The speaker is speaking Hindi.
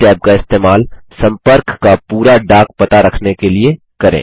इस टैब का इस्तेमाल सम्पर्क का पूरा डाक पता रखने के लिए करें